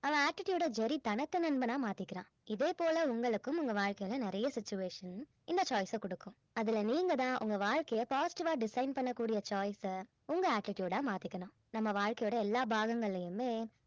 அவன் attitude அ Jerry தனக்கு நண்பனா மாத்திக்கிறான் இதே போல உங்களுக்கும் உங்க வாழ்க்கையில நிறைய situation இந்த choice அ குடுக்கும் அதுல நீங்க தான் உங்க வாழ்க்கைய positive ஆ design பண்ண கூடிய choice அ உங்க attiude ஆ மாத்திக்கணும் நம்ம வாழ்க்கையோட எல்லா பாகங்கள்ளையுமே